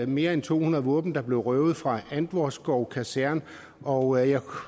mere end to hundrede våben der blev røvet fra antvorskov kaserne og jeg